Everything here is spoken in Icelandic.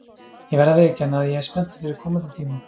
Ég verð að viðurkenna að ég er spenntur fyrir komandi tímum.